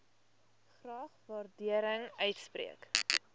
graag waardering uitspreek